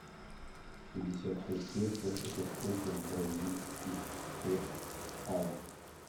пятьдесят пять песо это сколько в бразильских реалах